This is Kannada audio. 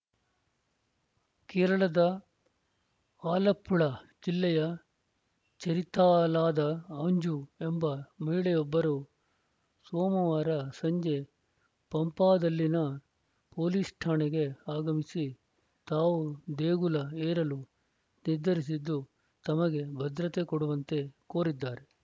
ಕೇರಳದ ಆಲಪ್ಪುಳ ಜಿಲ್ಲೆಯ ಚೆರಿಥಾಲಾದ ಅಂಜು ಎಂಬ ಮಹಿಳೆಯೊಬ್ಬರು ಸೋಮವಾರ ಸಂಜೆ ಪಂಪಾದಲ್ಲಿನ ಪೊಲೀಸ್‌ ಠಾಣೆಗೆ ಆಗಮಿಸಿ ತಾವು ದೇಗುಲ ಏರಲು ನಿರ್ಧರಿಸಿದ್ದು ತಮಗೆ ಭದ್ರತೆ ಕೊಡುವಂತೆ ಕೋರಿದ್ದಾರೆ